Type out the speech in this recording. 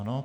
Ano.